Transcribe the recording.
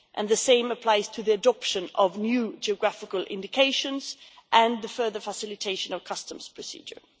The same applies to the adoption of new geographical indications and the further facilitation of customs procedures.